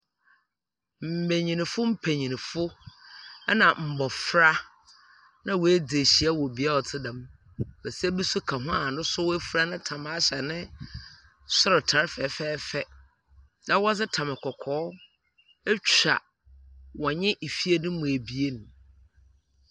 Mbanyin mpanyimfo na mbofra na woedzi ehyia wɔ bea a ɔtse dɛm. basia bi so ka ho a no so oefura ne tam ahyɛ no sortar fɛfɛɛfɛ, na wɔdze tam kɔkɔɔ etwa wɔnye fie no no mu ebien.